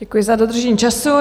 Děkuji za dodržení času.